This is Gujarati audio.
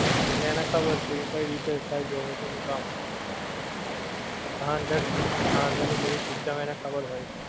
એટલે એને ખબર છે કે કઈ રીતે થાય છે zomato નો કામ હા અંદર થી હા અંદર ની બધી system એને ખબર હોએ